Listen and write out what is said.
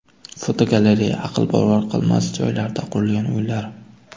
Fotogalereya: Aqlbovar qilmas joylarda qurilgan uylar.